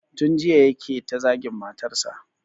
Tun jiya yake ta zagin matarsa